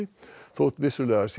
þótt vissulega sé